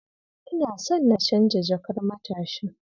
Ina son na canja jakar matashin.